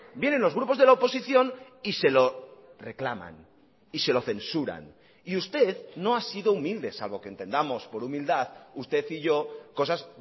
vienen los grupos de la oposición y se lo reclaman y se lo censuran y usted no ha sido humilde salvo que entendamos por humildad usted y yo cosas